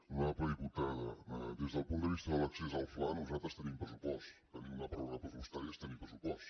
honorable diputada des del punt de vista de l’accés al fla nosaltres tenim pressupost tenir una pròrroga pressupostària és tenir pressupost